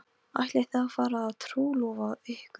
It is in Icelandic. Ætlið þið að fara að trúlofa ykkur?